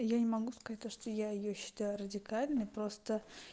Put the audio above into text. я не могу сказать то что я её считаю радикальной просто